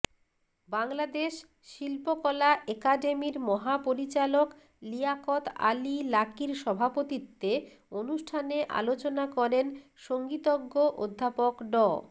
বাংলাদেশ শিল্পকলা একাডেমির মহাপরিচালক লিয়াকত আলী লাকীর সভাপতিত্বে অনুষ্ঠানে আলোচনা করেন সংগীতজ্ঞ অধ্যাপক ড